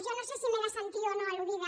jo no sé si m’he de sentir o no al·ludida